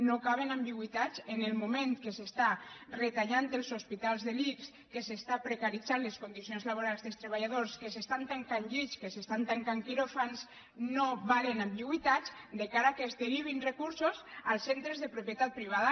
no caben ambigüitats en el moment que s’està retallant als hospitals de l’ics que s’estan precaritzant les condicions laborals dels treballadors que s’estan tancant llits que s’estan tancant quiròfans no valen ambigüitats de cara al fet que es derivin recursos als centres de propietat privada